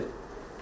Konkret fikir.